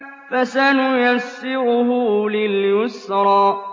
فَسَنُيَسِّرُهُ لِلْيُسْرَىٰ